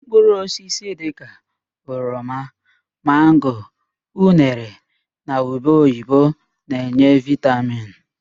Mkpụrụ osisi dịka: oroma, mango, unere na ube oyibo na-enye vitamin.